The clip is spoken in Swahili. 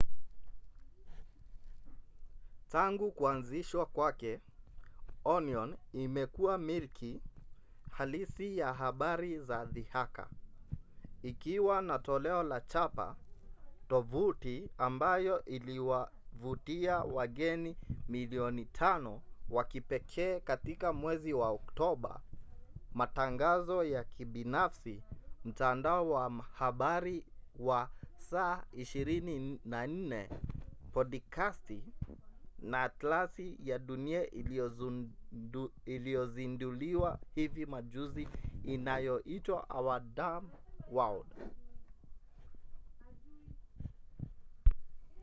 tangu kuanzishwa kwake onion imekuwa milki halisi ya habari za dhihaka ikiwa na toleo la chapa tovuti ambayo iliwavutia wageni 5,000,000 wa kipekee katika mwezi wa oktoba matangazo ya kibinafsi mtandao wa habari wa saa 24 podikasti na atlasi ya dunia iliyozinduliwa hivi majuzi inayoitwa our dumb world